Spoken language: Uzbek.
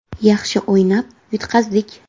Yaxshi o‘ynab yutqazdik.